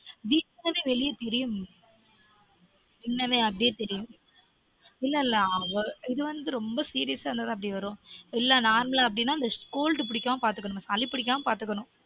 வீக்கம் வெளில தெரியும் உள்ளவே அப்புடியே தெரியும்இல்ல இல்ல அப்டியே தெரியும் இல்ல இல்ல இது வந்து ரொம்ப serious இருந்தா தான் அப்டி வரும் இல்ல normal அப்டினா cold புடிக்காம பார்த்துக்கணும் சளி புடிக்காம பார்த்துக்கணும்